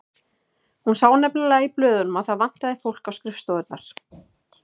Hún sá nefnilega í blöðunum að það vantaði fólk á skrifstofurnar.